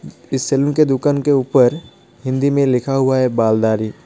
इस सलून के दूकान के उपर हिंदी में लिखा हुआ है बाल दाढ़ी.